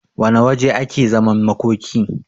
wane waje ake zaman makoki